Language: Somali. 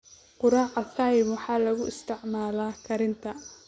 Quraca thyme waxaa loo isticmaalaa karinta.